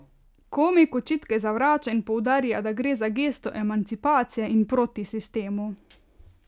Komik očitke zavrača in poudarja, da gre za gesto emancipacije in proti sistemu.